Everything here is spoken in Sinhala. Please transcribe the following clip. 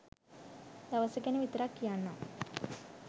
දවස ගැන විතරක් කියන්නම්